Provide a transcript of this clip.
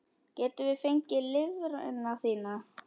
Getum við fengið lifrina þína?